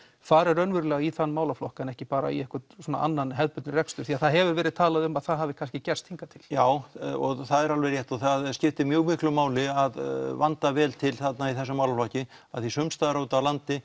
fari raunverulega í þann málaflokk en ekki bara í einhvern annan hefðbundinn rekstur því að það hefur verið talað um að það hafi kannski gerst hingað til já og það er alveg rétt og það skiptir mjög miklu máli að vanda vel til þarna í þessum málaflokki af því að sums staðar úti á landi